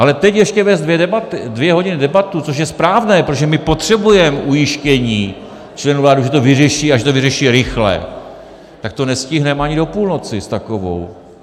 Ale teď ještě vést dvě hodiny debatu, což je správné, protože my potřebujeme ujištění členů vlády, že to vyřeší a že to vyřeší rychle, tak to nestihneme ani do půlnoci s takovou.